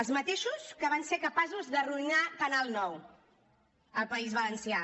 els mateixos que van ser capaços d’arruïnar canal nou al país valencià